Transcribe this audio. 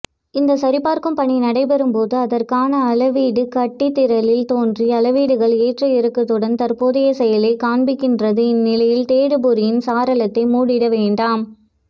இந்த சரிபார்க்கும்பணி நடைபெறும்போது அதற்கானஅளவீடுகாட்டிதிரையில் தோன்றி அளவீடுகள் ஏற்ற இறக்கத்துடன் தற்போதைய செயலை காண்பிக்கின்றது இந்நிலையில் தேடுபொறியின் சாளரத்தை மூடிடவேண்டாம்